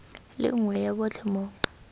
le nngwe ya botlhe mo